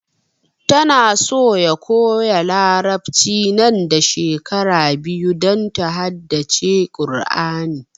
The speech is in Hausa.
Ta na so ya koya larabci nan da shekara biyu don ta haddace Kur'ani